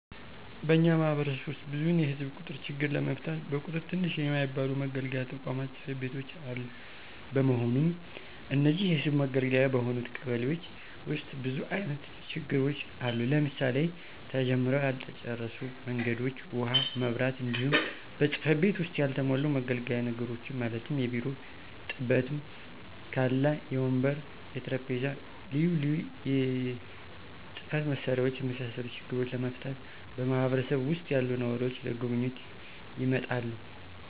በእኛ ማህበረሰብ ዉስጥ ብዙዉን የህዝብ ቁጥር ችግር ለመፍታት በቁጥር ትንሽ የማይባሉ መገልገያ ተቋማት(ፅ/ቤቶች)አሉ። በመሆኑም እነዚህን የህዝብ መገልገያ በሆኑት ቀበሌዎች ዉስጥ ብዙ አይነት ችግሮች አሉ; ለምሳሌ፦ ተጀምረዉ ያልተጨረሱ መንገዶች፣ ዉሀ፣ መብራት፣ እንዲሁም በፅ/ቤቱ ዉስጥ ያልተሟሉ መገልገያ ነገሮችን ማለትም; የቢሮ ጥበትም ካለ, የወንበር፣ የጠረምጴዛ፣ ልዩ ልዩ የፅ/መሳሪያዎች የመሳሰሉ ችግሮችን ለመፍታት በማህበረሰብ ዉሰጥ ያሉ ነዋሪዎች ለጉብኝት ይመጣሉ።